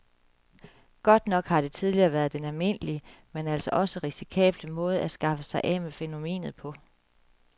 Godt nok har det tidligere været den almindelige, men altså også risikable måde at skaffe sig af med fænomenet på.